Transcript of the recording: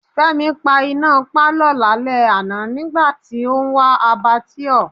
Fẹ́mi pa iná pálọ̀ lálẹ́ àná nígbà tí ó ń wa Abbatoir.